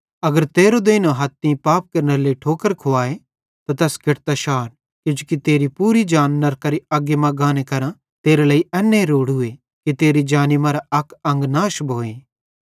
अगर तेरो देइनो हथ तीं पाप केरनेरे लेइ ठोकर खुवाए त तैस केटतां शार किजोकि तेरी पूरी जान नरकेरी अग्गी मां गाने करां तेरे लेइ एन्ने रोड़ूए कि तेरी जानी मरां अक अंग नाश भोए